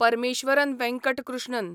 Parameswaran Venkat Krishnan